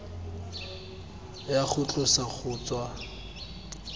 ya go tlosa go tswa